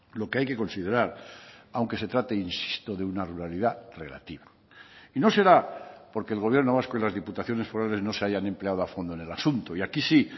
lo que hay que considerar aunque se trate insisto de una ruralidad relativa y no será porque el gobierno vasco y las diputaciones forales no se hayan empleado a fondo en el asunto y aquí sí